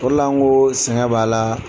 O de la nkooo sɛgɛn b'a la